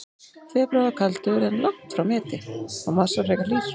Febrúar var kaldur, en langt frá meti, og mars var frekar hlýr.